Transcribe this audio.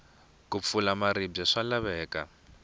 ku pfula maribye swa laveka